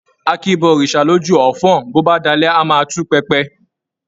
A kìí bọ òrìṣà lójú ọfọ́n-ọ́n, bó bá dalẹ́ a máa tú pẹpẹ.